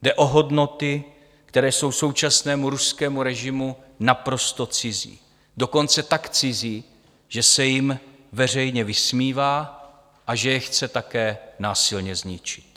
Jde o hodnoty, které jsou současnému ruskému režimu naprosto cizí, dokonce tak cizí, že se jim veřejně vysmívá a že je chce také násilně zničit.